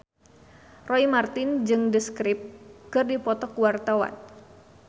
Roy Marten jeung The Script keur dipoto ku wartawan